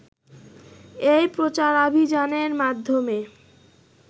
এই প্রচারাভিযানের মাধ্যমে